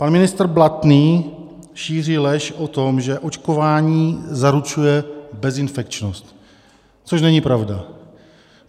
Pan ministr Blatný šíří lež o tom, že očkování zaručuje bezinfekčnost, což není pravda.